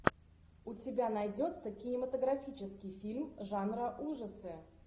у тебя найдется кинематографический фильм жанра ужасы